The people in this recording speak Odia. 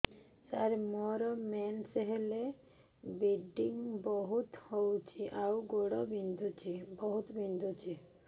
ସାର ମୋର ମେନ୍ସେସ ହେଲେ ବ୍ଲିଡ଼ିଙ୍ଗ ବହୁତ ହଉଚି ଆଉ ଗୋଡ ବହୁତ ବିନ୍ଧୁଚି